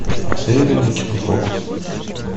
посоветуй мне кинофокус